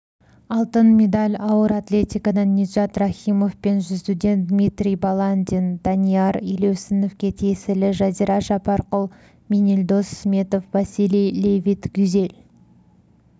алтын медальауыр атлетикаданниджат рахимовпен жүзудендмитрий баландин данияр елеусіновке тиесілі жазира жаппарқұл менелдос сметов василий левит гюзель